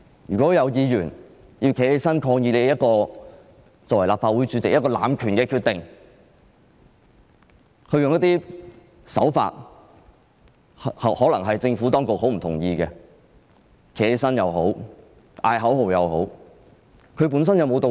如果有議員站起來抗議立法會主席的濫權決定，用一些可能是政府當局很不認同的手法——無論是站起來或叫喊口號——本身有沒有道理？